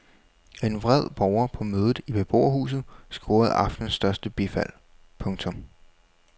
En vred borger på mødet i beboerhuset scorede aftenens største bifald. punktum